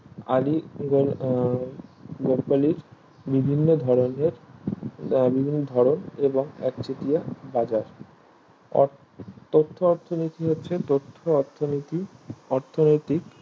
আলীগড় আহ বকলীর বিভিন্ন ধরণের আহ বিভিন্ন ধরণ এবং একচেটিয়া বাজার আহ তথ্য অর্থনীতি হচ্ছে তথ্য অর্থনীতিক অর্থনৈতিক